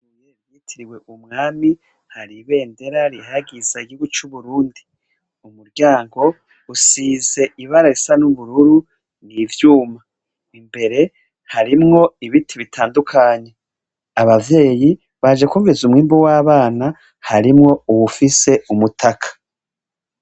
Ishure bitiriye kumwami hari ibedendera yigihuyu cuburundi kumuryango hasize ibara risa nubururu nivyuma imbere harimwo nibiti bitandukanye abavyeyi baje gukomeza umwimbu wabana harimwo uwufise umutaka